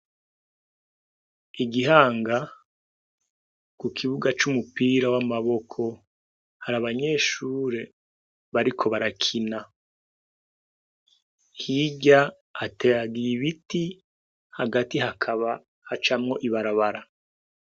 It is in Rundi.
Igihanga kukibuga c'umupira w'amaboko hari abanyeshuri bariko barakina, hirya hateragiye ibiti hagati hakaba hacamwo ibarabara.